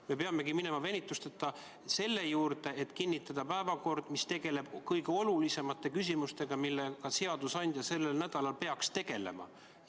Me peamegi minema venituseta selle juurde, et kinnitada päevakord, mis tegeleb kõige olulisemate küsimustega, millega seadusandja sellel nädalal peaks tegelema.